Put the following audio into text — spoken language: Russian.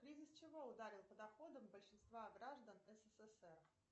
кризис чего ударил по доходам большинства граждан ссср